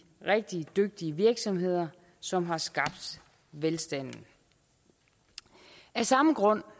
rigtig dygtige virksomheder som har skabt velstanden af samme grund